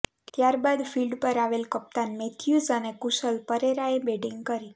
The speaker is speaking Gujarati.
ત્યાર બાદ ફિલ્ડ પર આવેલ કપ્તાન મેથ્યૂઝ અને કુસલ પરેરાએ બેટિંગ કરી